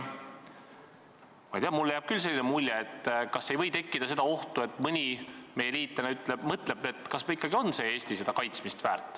Ma ei tea, mul on küll selline tunne, et võib tekkida oht, et mõni meie liitlane mõtleb, kas Eesti ikka on kaitsmist väärt.